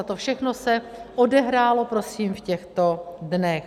A to všechno se odehrálo prosím v těchto dnech.